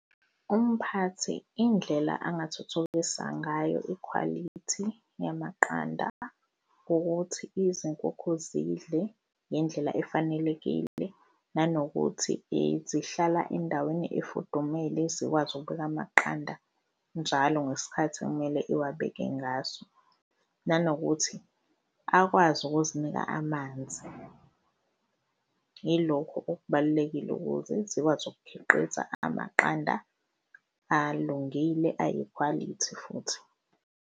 Umphathi indlela angathuthukisa ngayo ikhwalithi yamaqanda ukuthi izinkukhu zidle ngendlela efanelekile nanokuthi zihlala endaweni efudumele, zikwazi ukubeka amaqanda njalo ngesikhathi ekumele uwabeke ngaso nanokuthi akwazi ukuzinika amanzi. Yilokhu okubalulekile ukuze ikwazi ukukhiqiza amaqanda alungile ayikhwalithi futhi.